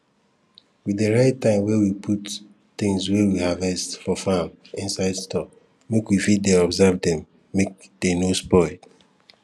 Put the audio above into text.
we dey write time wey we put things wey we harvest for farm inside store make we fit dey observe dem make dey no spoil